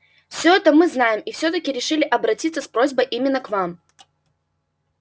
всё это мы знаем и все таки решили обратиться с просьбой именно к вам